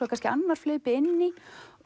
kannski annar flipi inn í